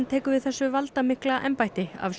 tekur við þessu valdamikla embætti af